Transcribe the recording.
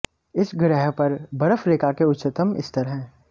इस ग्रह पर बर्फ रेखा के उच्चतम स्तर है